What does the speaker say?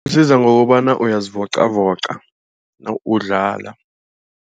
Isiza ngokobana uyazivoqavoqa nawuwudlala.